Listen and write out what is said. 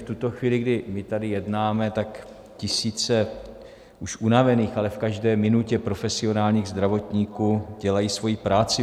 V tuto chvíli, kdy my tady jednáme, tak tisíce už unavených, ale v každé minutě profesionálních zdravotníků dělají svoji práci.